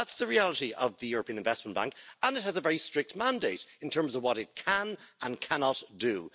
That's the reality of the European Investment Bank, and it has a very strict mandate in terms of what it can and cannot do.